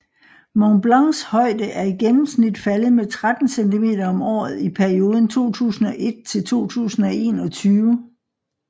Mont Blancs højde er i gennemsnit faldet med 13 cm om året i perioden 2001 til 2021